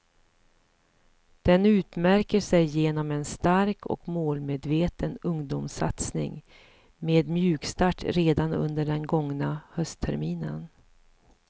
Den utmärker sig genom en stark och målmedveten ungdomssatsning med mjukstart redan under den gångna höstterminen.